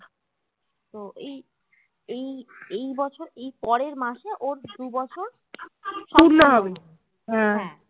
তো এই এই এই বছর এই পরের মাসে ওর দু বছর